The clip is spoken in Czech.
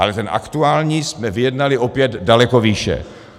Ale ten aktuální jsme vyjednali opět daleko výše.